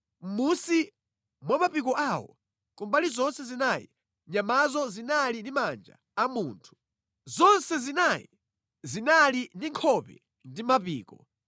Mʼmunsi mwa mapiko awo kumbali zonse zinayi, nyamazo zinali ndi manja a munthu. Zonse zinayi zinali ndi nkhope ndi mapiko,